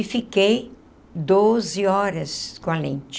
E fiquei doze horas com a lente.